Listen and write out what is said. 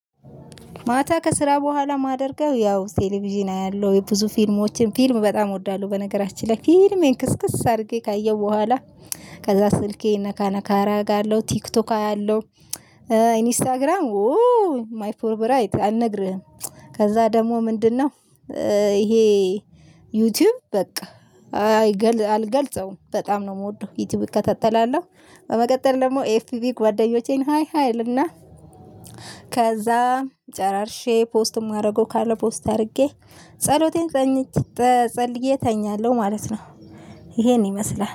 ማታ ከስራ በኋላ ማደርገው ያው ቴሌቪዥን አያለሁ የብዙ ፊልሞችን ፊልም በጣም እወዳለሁ በነገራችን ላይ ፊልሜን ክስክስ አርጌ ካየሁ በኋላ ከዛ ስልኬ ነካ ነካ እረጋለሁ ቲክቶክ አያለሁ። ኢንስታግራም ውው ማይ ፎብራይት አልነግርህም። ከዛ ደግሞ ምንድነው? ይሄ ዩቲዩብ በቃ አልገልጸውም በጣም ነው ምወደው ዩቲዩብ እከታተላለሁ። በመቀጠል ደግሞ ኤፍቢቪ ጓደኞቼን ሃይ ሃይ እልና ከዛ ጨራርሼ ፖስትም ማደረገው ካለ ፖስት አድርጌ ጸሎቴን ጸልዬ እተኛለሁ። ማለት ነው። ይሄን ይመስላል